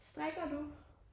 Strikker du?